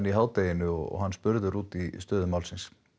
í hádeginu og hann spurður út í stöðu máls